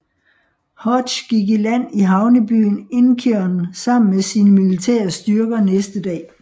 Hodge gik i land i havnebyen Incheon sammen med sine militære styrker næste dag